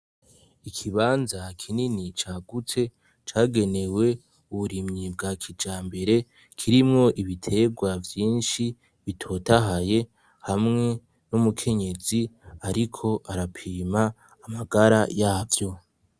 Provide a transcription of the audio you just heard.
Ikibanza kinini cagutse cagenewe uburimyi bwa kija mbere kirimwo ibiterwa vyinshi bitotahaye hamwe n'umukenyezi, ariko arapima amagara yavyo.